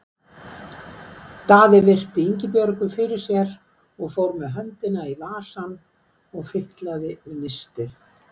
Daði virti Ingibjörgu fyrir sér og fór með höndina í vasann og fitlaði við nistið.